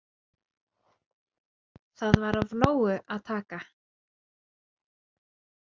Þar var af nógu að taka.